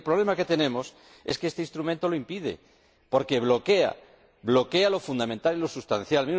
Y el problema que tenemos es que este instrumento lo impide, porque bloquea, bloquea lo fundamental y lo sustancial.